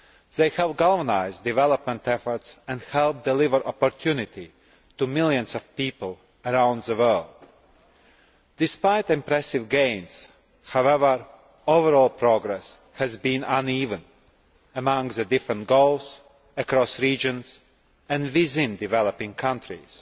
They help galvanise development efforts and help deliver opportunity to millions of people around the world. Despite impressive gains, however, overall progress has been uneven among the different goals, across regions and within developing countries.